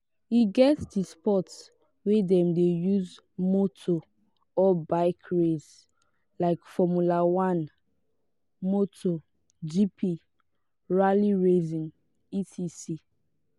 e get di sport wey dem de use motor or bike race like formula 1 motor gp rally racing etc